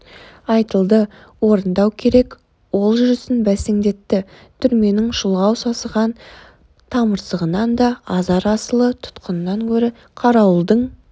айтылды орындау керек ол жүрісін бәсеңдетті түрменің шұлғау сасыған тымырсығынан да азар асылы тұтқыннан гөрі қарауылдың